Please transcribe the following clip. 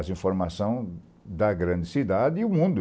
As informações da grande cidade e o mundo.